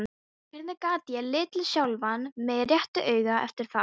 Hvernig gat ég litið sjálfan mig réttu auga eftir það?